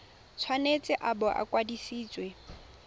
tshwanetse a bo a kwadisitswe